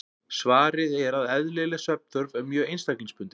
Svarið er að eðlileg svefnþörf er mjög einstaklingsbundin.